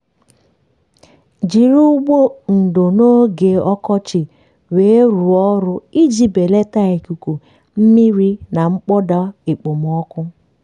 jiri ụgbụ ndò n'oge ọkọchị weerụọ ọrụ iji belata ikuku mmiri na mkpọda okpomọkụ.